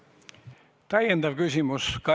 Täiendav küsimus saalist.